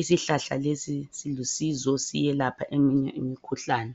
isihlahla lesi silusizo siyelapha eminye imkhuhlane.